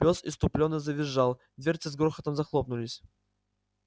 пёс исступлённо завизжал дверцы с грохотом захлопнулись